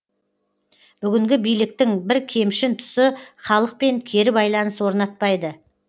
бүгінгі биліктің бір кемшін тұсы халықпен кері байланыс орнатпайды